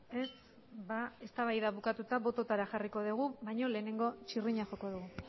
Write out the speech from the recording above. ez ba eztabaida bukatuta bototara jarriko degu baino lehenengo txirrina joko du